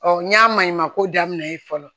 n y'a maɲumako daminɛ ye fɔlɔ